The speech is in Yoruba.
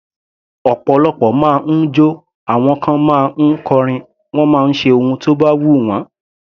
Ọ̀pọ̀lọpọ̀ ma ń jọ́, àwọn kan ma ń kọrin, wọ́n máa ń ṣe ohun tó bá wù wọ́n.